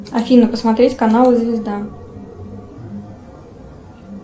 афина посмотреть канал звезда